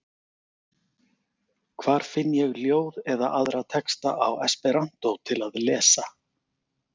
Hvar finn ég ljóð eða aðra texta á esperantó til að lesa?